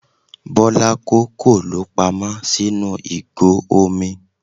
Bọ́lá kó kòló pamọ́ sínú ìgò omi.